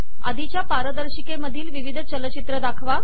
आधिच्या पारदर्शिकेमधील विविध चलचित्र दाखवा